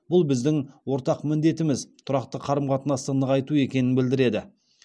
бұл біздің ортақ міндетіміз тұрақты қарым қатынасты нығайту екенін білдіреді